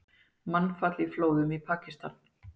Mannfall í flóðum í Pakistan